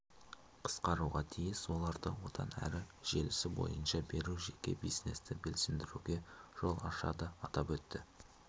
қысқаруға тиіс оларды одан әрі желісі бойынша беру жеке бизнесті белсендіруге жол ашады атап өтті